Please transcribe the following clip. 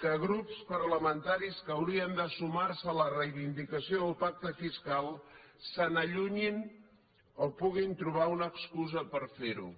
que grups parlamentaris que haurien de sumar se a la reivindicació del pacte fiscal se n’allunyin o que puguin trobar una excusa per fer ho